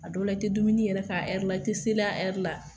A dɔw la i te dumuni yɛrɛ a ɛri la i te seli a ɛri la